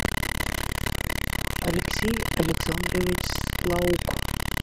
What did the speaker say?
алексей александрович слаук